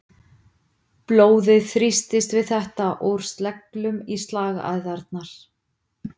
Blóðið þrýstist við þetta úr sleglum í slagæðarnar.